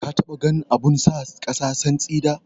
Ka taɓa ganin abun sa kasa santsi da?